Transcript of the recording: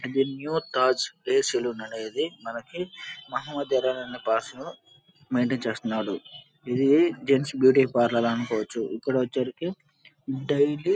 ఇది new Taj hair salon అనేది మనకి మహమ్మద్ ఏమ్రాన్ అనే భాషలో మైంటైన్ చేస్తున్నాడు. ఇది జెంట్స్ బ్యూటీ పార్లర్ అనుకో వచ్చు. ఇక్కడ వచ్చేసరికి డైలీ --